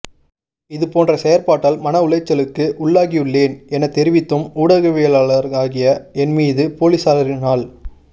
இது போன்ற செயற்பாட்டால் மன உளைச்சலுக்கு உள்ளாகியுள்ளேன் என தெரிவித்தும் ஊடகவியலாளராகிய என் மீது பொலிஸாரினால்